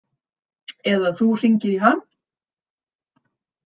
Eða þú hringir í hann.